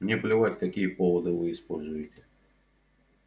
мне плевать какие поводы вы используете